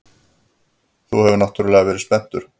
Þú hefur náttúrlega verið spenntur.